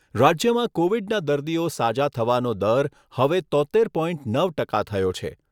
રાજ્યમાં કોવિડના દર્દીઓ સાજા થવાનો દર હવે તોત્તેર પોઇન્ટ નવ ટકા થયો છે.